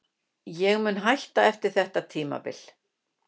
Ég mun hætta eftir þetta tímabil.